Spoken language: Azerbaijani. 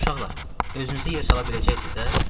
Uşaqlar, özünüzü yerə sala biləcəksiniz də?